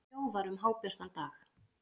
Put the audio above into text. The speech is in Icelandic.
Þjófar um hábjartan dag